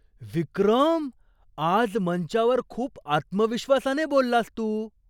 विक्रम! आज मंचावर खूप आत्मविश्वासाने बोललास तू!